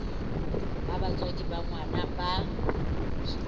ha batswadi ba ngwana ba